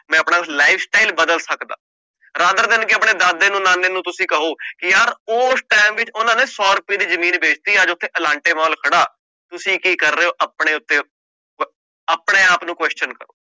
ਮੈਂ ਆਪਣਾ life style ਬਦਲ ਸਕਦਾਂ rather than ਕਿ ਆਪਣੇ ਦਾਦੇ ਨੂੰ ਨਾਨੇ ਨੂੰ ਤੁਸੀਂ ਕਹੋ ਕਿ ਯਾਰ ਉਸ time ਵਿੱਚ ਉਹਨਾਂ ਨੇ ਸੌ ਰੁਪਏ ਦੀ ਜ਼ਮੀਨ ਵੇਚ ਦਿੱਤੀ ਅੱਜ ਉੱਥੇ ਅਲਾਂਟੇ ਮਾਲ ਖੜਾ, ਤੁਸੀਂ ਕੀ ਕਰ ਰਹੇ ਹੋ ਆਪਣੇ ਉੱਤੇ ਆਪਣੇ ਆਪ ਨੂੰ question ਕਰੋ।